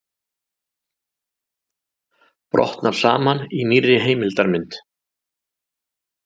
Brotnar saman í nýrri heimildarmynd